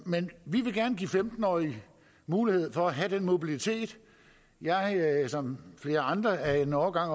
men vi vil gerne give femten årige mulighed for at have den mobilitet jeg er som flere andre af en årgang